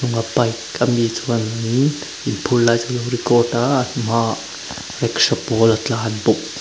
a bike ami chuan mi inphur lai chu a lo record a a hmaah rickshaw pawl a tlan bawk.